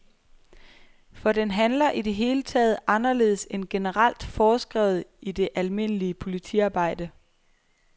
For den handler i det hele taget anderledes end generelt foreskrevet i det almindelige politiarbejde.